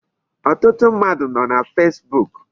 Ọtụtụ mmadụ nọ na Facebook.